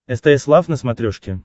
стс лав на смотрешке